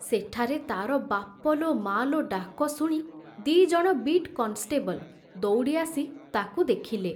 ସେଠାରେ ତାର ବାପ ଲୋ ମା ଲୋ ଡାକ ଶୁଣି ଦିଜଣ ବିଟ୍ କନଷ୍ଟେବଲ ଦଉଡ଼ି ଆସି ତାକୁ ଦେଖିଲେ।